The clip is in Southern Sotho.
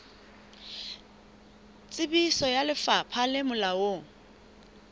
tsebiso ya lefapha le molaong